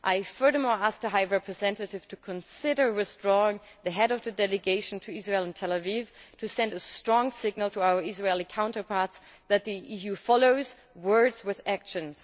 Furthermore, I ask the High Representative to consider withdrawing the Head of the Delegation to Israel and Tel Aviv to send a strong signal to our Israeli counterparts that the EU follows words with actions.